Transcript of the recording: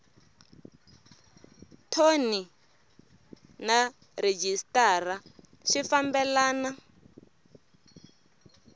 thoni na rhejisitara swi fambelena